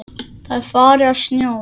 Það er farið að snjóa.